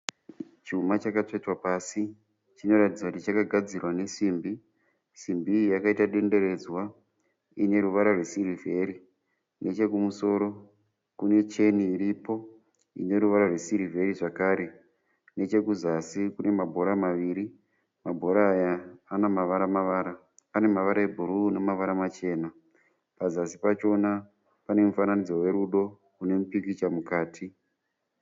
Chuma chakatsvetwa pasi. Chinoratidza kuti chakagadzirwa nesimbi, Simbi iyi yakaita denderedzwa ine ruvara rwesirivheri. Nechokumusoro kune cheni iripo ine ruvara rwesirivheri zvakare. Nechekuzasi kune mabhora maviri. Mabhora aya ane mavaramavara. Ane mavara ebhuruu nemavara machena. Pazasi pachona pane mufananidzo werudo une mupikicha mukati.